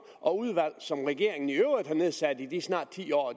og udvalg som regeringen i øvrigt har nedsat i de snart ti år